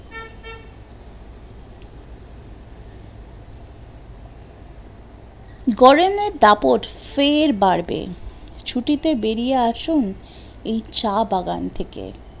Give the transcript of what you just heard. গরমের দাপট ফের বাড়বে, ছুটিতে বেরিয়ে আসুন এই চা বাগান থেকে